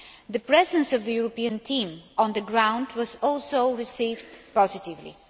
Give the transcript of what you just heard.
The presence of the European team on the ground was also received positively.